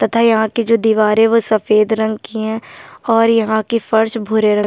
तथा यहाँ की जो दीवारें वो सफेद रंग की हैं और यहाँ की फर्श भुरे रंग --